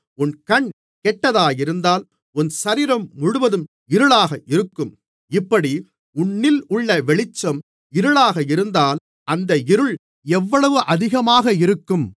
உன் கண் கெட்டதாயிருந்தால் உன் சரீரம் முழுவதும் இருளாக இருக்கும் இப்படி உன்னிலுள்ள வெளிச்சம் இருளாக இருந்தால் அந்த இருள் எவ்வளவு அதிகமாக இருக்கும்